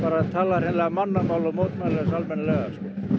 tala hreinlega mannamál og mótmæla þessu almennilega